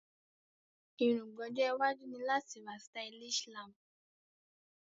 Èróngbà ojó iwájú ni láti ra stylish lamp